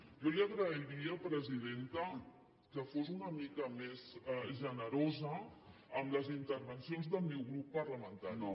jo li agrairia presidenta que fos una mica més generosa amb les intervencions del meu grup parlamentari